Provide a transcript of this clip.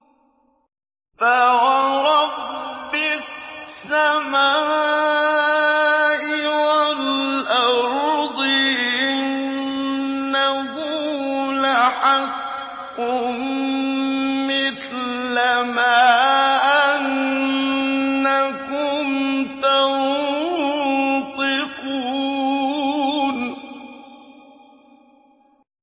فَوَرَبِّ السَّمَاءِ وَالْأَرْضِ إِنَّهُ لَحَقٌّ مِّثْلَ مَا أَنَّكُمْ تَنطِقُونَ